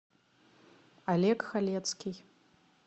олег халецкий